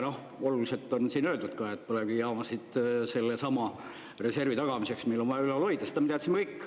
Oluliselt on siin öeldud ka, et põlevkivijaamasid sellesama reservi tagamiseks meil on vaja ülal hoida, seda me teadsime kõik.